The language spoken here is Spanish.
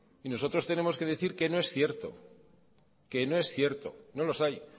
y nosotros tenemos que decir que no es cierto que no es cierto no los hay